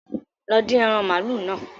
Lọ dín ẹran màálù náà